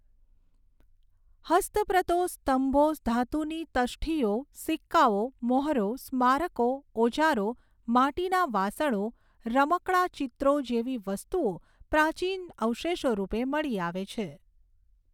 હસ્તપ્રતો સ્તંભો ધાતુની તષ્ઠીઓ સિક્કાઓ મહોરો સ્મારકો ઓજારો માટીના વાસણો રમકડાં ચિત્રો જેવી વસ્તુઓ પ્રાચીન અવશેષોરૂપે મળી આવે છે.